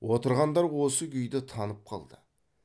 отырғандар осы күйді танып қалды